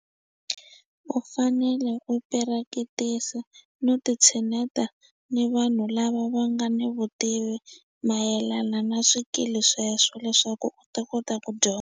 U fanele u pirakitisa no ti tshineta ni vanhu lava va nga ni vutivi mayelana na swikili sweswo leswaku u ta kota ku .